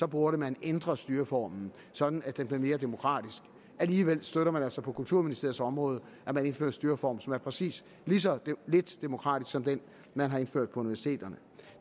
burde man ændre styreformen sådan at den blev mere demokratisk alligevel støtter man altså på kulturministeriets område at man indfører en styreform som er præcis lige så lidt demokratisk som den man har indført på universiteterne